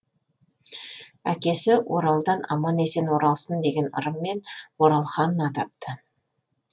әкесі оралдан аман есен оралсын деген ырыммен оралхан атапты